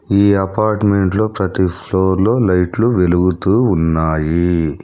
ఈ అపార్ట్మెంట్లో ప్రతి ఫ్లోర్లో లైట్లు వెలుగుతూ ఉన్నాయి.